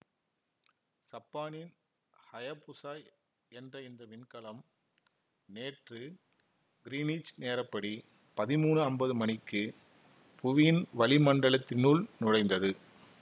சப்பானின் Hayabusa என்ற இந்த விண்கலன் நேற்று கிரீனிச் நேரப்படி பதிமூனு அம்பது மணிக்கு புவியின் வளிமண்டலத்தினுள் நுழைந்தது